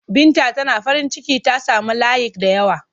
Binta Tana farinciki ta sami layik da yawa.